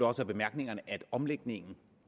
også af bemærkningerne at omlægningen